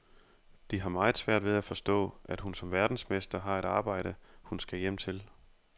De har meget svært ved at forstå, at hun som verdensmester har et arbejde, hun skal hjem til.